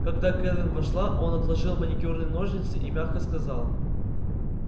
когда кэлвин вошла он отложил маникюрные ножницы и мягко сказал